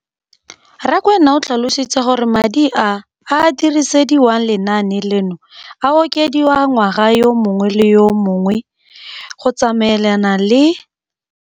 Rakwena o tlhalositse gore madi a a dirisediwang lenaane leno a okediwa ngwaga yo mongwe le yo mongwe go tsamaelana le